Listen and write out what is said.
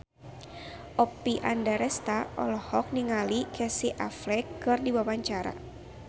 Oppie Andaresta olohok ningali Casey Affleck keur diwawancara